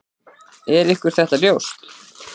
Er ykkur þetta ljóst?